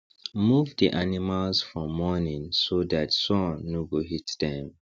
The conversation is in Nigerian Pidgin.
move the animals for morning so dat sun no go hit dem